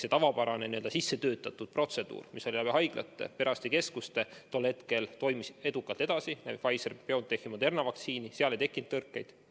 See tavapärane sissetöötatud protseduur, mis oli korraldatud haiglate ja perearstikeskuste kaudu, toimis tol hetkel edukalt edasi Pfizer-BioNTechi ja Moderna vaktsiinide puhul, seal ei tekkinud tõrkeid.